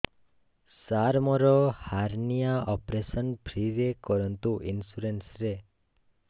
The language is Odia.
ସାର ମୋର ହାରନିଆ ଅପେରସନ ଫ୍ରି ରେ କରନ୍ତୁ ଇନ୍ସୁରେନ୍ସ ରେ